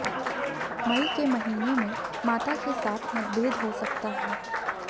मई के महीने में माता के साथ मतभेद हो सकता है